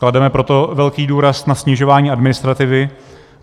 Klademe proto velký důraz na snižování administrativy.